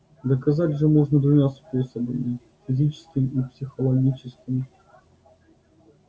доказать же можно двумя способами физическим и психологическим